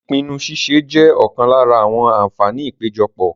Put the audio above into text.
Ìpinnu ṣíṣe jẹ́ ọ̀kan lára àwọn àǹfààní ìpéjọpọ̀.